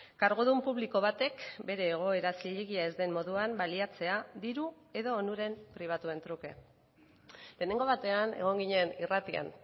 kargudun publiko batek bere egoera zilegi ez den moduan baliatzea diru edo onuren pribatuen truke lehenengo batean egon ginen irratian